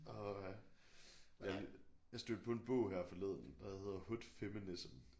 Åh ha jeg stødte på en bog her forleden der hedder hood feminism